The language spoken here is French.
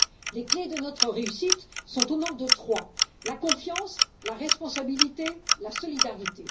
Les clés de notre réussite sont au nombre de trois la confiance, la responsabilité et la solidarité.